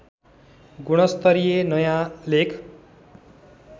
गुणस्तरीय नयाँ लेख